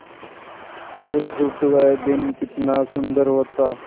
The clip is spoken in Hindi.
बुधगुप्त वह दिन कितना सुंदर होता